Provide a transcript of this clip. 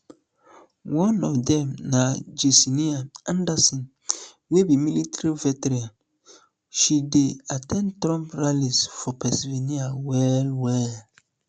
one of dem na jessenia anderson wey be military veteran she dey at ten d trump rallies for pennsylvania wellwell